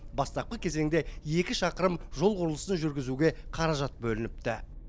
бастапқы кезеңде екі шақырым жол құрылысын жүргізуге қаражат бөлініпті